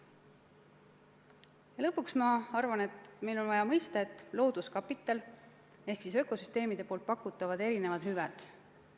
Ja lõpuks: ma arvan, et meil on vaja mõistet "looduskapital" ehk siis ökosüsteemide pakutavad erinevad hüved.